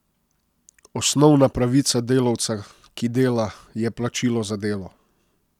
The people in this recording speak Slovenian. Osnovna pravica delavca, ki dela, je plačilo za delo.